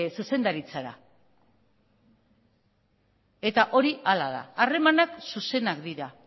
zuzendaritzara eta hori hala da harremanak zuzenak dira